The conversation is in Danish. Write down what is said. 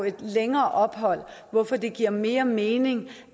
et længere ophold hvorfor det giver mere mening